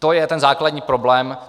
To je ten základní problém.